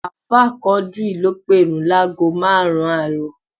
Ààfáà Quadri ló pèrun láágo márùn-ún àárọ̀